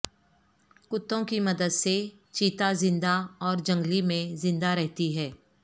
کتوں کی مدد سے چیتاہ زندہ اور جنگلی میں زندہ رہتی ہے